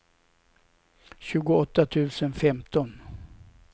tjugoåtta tusen femton